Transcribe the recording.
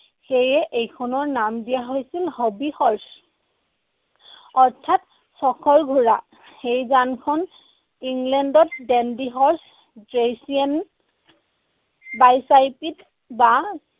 সেয়ে এইখনৰ নাম দিয়া হৈছিল হবী হৰ্ছ। অৰ্থাৎ চখৰ ঘোঁৰা। এই যানখন ইংলেণ্ডত ডেন্ডি হৰ্চ ড্ৰেইসিয়ান bicycle বা